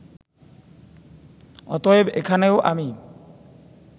অতএব এখানেও আমি